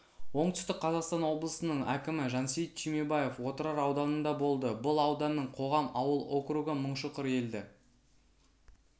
оңтүстік қазақстан облысының әкімі жансейіт түймебаев отырар ауданында болды бұл ауданның қоғам ауыл округі мыңшұқыр елді